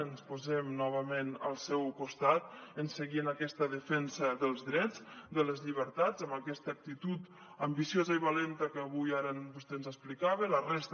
ens posem novament al seu costat per seguir en aquesta defensa dels drets de les llibertats amb aquesta actitud ambiciosa i valenta que ara vostè ens explicava i la resta